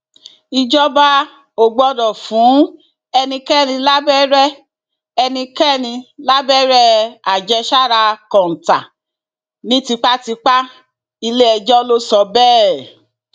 ìjọba ò gbọdọ fún ẹnikẹni lábẹrẹ ẹnikẹni lábẹrẹ àjẹsára kọńtà ní tipátipáiléẹjọ ló sọ bẹẹ